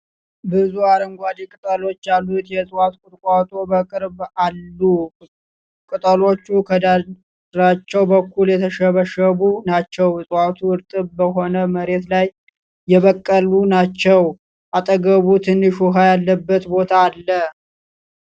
ብዙ አረንጓዴ ቅጠሎች ያሉት የዕፅዋት ቁጥቋጦ በቅርበት አሉ። ቅጠሎቹ ከዳርቻው በኩል የተሸበሸቡ ናቸው። ዕፅዋቱ እርጥብ በሆነ መሬት ላይ የበቀለ ናቸው፡፡ አጠገቡ ትንሽ ውሃ ያለበት ቦታ አለ።